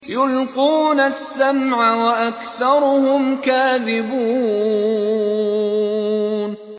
يُلْقُونَ السَّمْعَ وَأَكْثَرُهُمْ كَاذِبُونَ